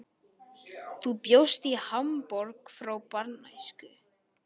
Þú bjóst í Hamborg frá barnæsku.